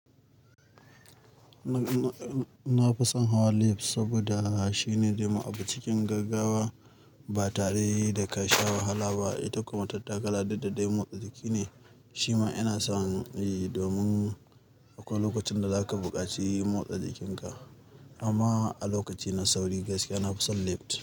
Na-na-na-na-na fi son hawa lift saboda shi ne zai ma abu cikin gaggawa, ba tare da ka sha wahala ba. Ita ko matattakala duk da dai motsa jiki ne. Shima ina son yi, domin akwai lokacin da za ka buƙaci motsa jikinka. Amma a lokaci na sauri gaskiya na fi son lift.